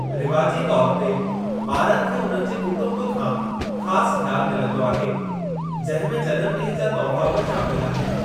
रिवाजी तौरु ते, ॿारनि खे हुननि जे कुटुंब खां ख़ास ख़्याल मिलंदो आहे, जंहिं में जनमॾींहं जा तुहिफ़ा बि शामिल आहिनि।